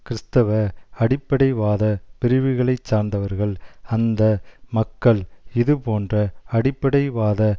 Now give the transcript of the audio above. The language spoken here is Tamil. கிறிஸ்துவ அடிப்படைவாத பிரிவுகளை சார்ந்தவர்கள் அந்த மக்கள் இதுபோன்ற அடிப்டைவாத